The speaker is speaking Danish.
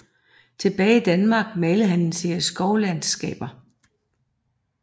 Tilbage i Danmark malede han en serie skovlandskaber